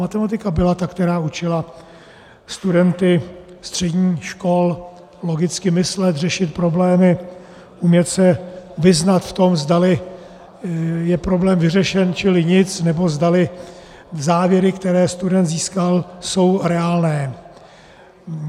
Matematika byla ta, která učila studenty středních škol logicky myslet, řešit problémy, umět se vyznat v tom, zdali je problém vyřešen, čili nic, nebo zdali závěry, které student získal, jsou reálné.